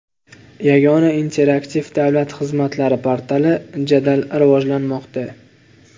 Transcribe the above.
Yagona interaktiv davlat xizmatlari portali jadal rivojlanmoqda.